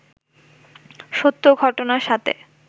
সত্য ঘটনার সাথে